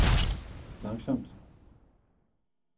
langsomt